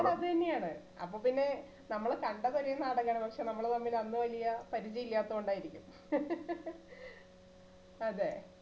അത് അത് തന്നെയാണ് അപ്പൊ പിന്നെ നമ്മള് കണ്ടത് ഒരേ നാടകാണ് പക്ഷേ നമ്മള് തമ്മില് അന്ന് വലിയ പരിചയം ഇല്ലാത്തകൊണ്ട് ആയിരിക്കും. അതെ